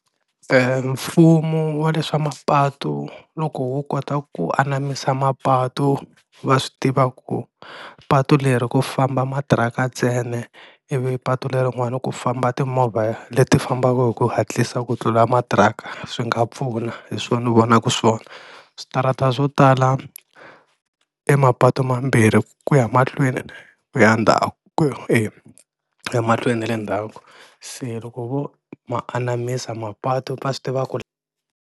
E mfumo wa le swa mapatu loko wu kota ku anamisa mapatu, va swi tiva ku patu leri ku famba matiraka ntsena ivi patu lerin'wani ku famba timovha leti fambaka hi ku hatlisa ku tlula matiraka, swi nga pfuna hi swona ni vonaku swona switarata swo tala e mapatu mambirhi ku ya mahlweni ku ya ndzhaku e emahlweni na le ndzhaku, se loko vo ma anamisa mapatu va ta swi tiva ku.